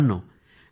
मित्रांनो